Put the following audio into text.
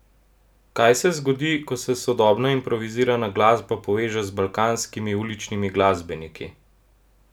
Kaj se zgodi, ko se sodobna improvizirana glasba poveže z balkanskimi uličnimi glasbeniki?